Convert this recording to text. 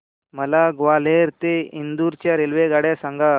मला ग्वाल्हेर ते इंदूर च्या रेल्वेगाड्या सांगा